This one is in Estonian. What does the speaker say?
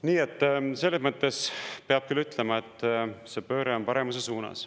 Nii et selles mõttes peab küll ütlema, et see pööre on paremuse suunas.